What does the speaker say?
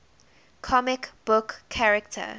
comic book character